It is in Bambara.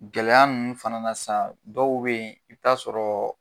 Gɛlɛya nunnu fana na sisan dɔw be yen i bi taa sɔrɔ